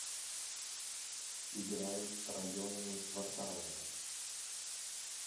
играй районами кварталами